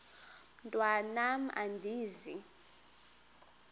mntwan am andizi